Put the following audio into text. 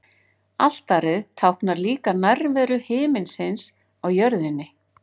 Altarið táknar líka nærveru himinsins á jörðinni.